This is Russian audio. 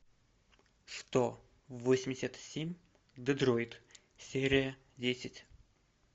сто восемьдесят семь детройт серия десять